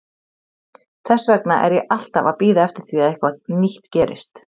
Þess vegna er ég alltaf að bíða eftir því að eitthvað nýtt gerist.